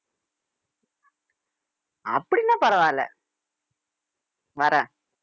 அப்படின்னா பரவாயில்லை வரேன்